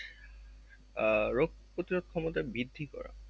আহ রোগ প্রতিরোধ ক্ষমতা বৃদ্ধি করা